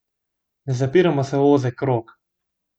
Ne zapiramo se v ozek krog.